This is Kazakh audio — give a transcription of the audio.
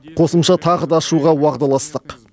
қосымша тағы да ашуға уағдаластық